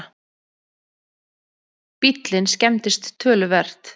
Bíllinn skemmdist töluvert